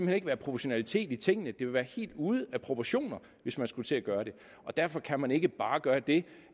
hen ikke være proportionalitet i tingene det ville være helt ude af proportioner hvis man skulle til at gøre det derfor kan man ikke bare gøre det